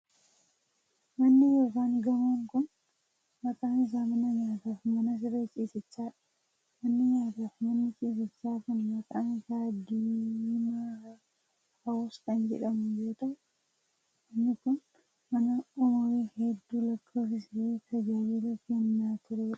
Manni yookin gamoon kun, maqaan isaa mana nyaataa fi mana siree ciisichaa dha. Manni nyaataa fi manni ciisichaa kun maqaan isaa Diimaa Hawus kan jedhamu yoo ta'u, manni kun mana umurii hedduu lakkoofsisee fi tajaajilaa kennaa turee dha.